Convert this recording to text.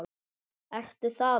Ertu þaðan?